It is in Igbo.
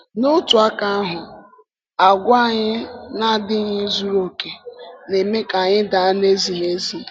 N’otu aka ahụ, àgwà anyị na-adịghị zuru oke na-eme ka anyị daa n’ezighi ezi.